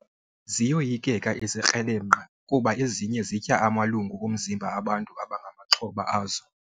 Ziyoyikeka izikrelemnqa kuba ezinye zitya amalungu omzimba bantu abangamaxhoba azo.